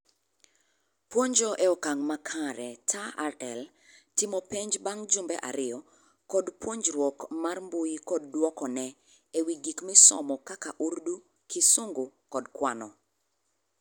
Puonjo e okang' makare (TaRL), timo penj bang' jumbe ariyo, kod puonjruok mar mbuyi kod dwokone e wi gik misomo kaka Urdu, Kisungu kod kwano